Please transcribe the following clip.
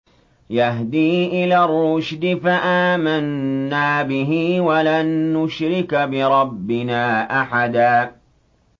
يَهْدِي إِلَى الرُّشْدِ فَآمَنَّا بِهِ ۖ وَلَن نُّشْرِكَ بِرَبِّنَا أَحَدًا